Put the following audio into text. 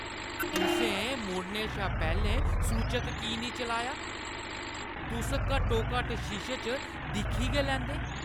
तुसें मुड़ने शा पैह्‌लें सूचक की नेईं चलाया? तुस घट्टोघट्ट शीशे च दिक्खी गै लैंदे।